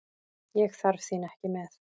Ég þarf þín ekki með.